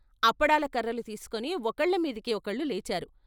అప్పడాల కర్రలు తీసుకుని ఒకళ్ళ మీదికి ఒకళ్ళు లేచారు.